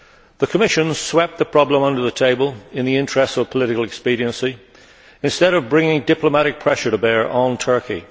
The Commission swept the problem under the table in the interests of political expediency, instead of bringing diplomatic pressure to bear on Turkey.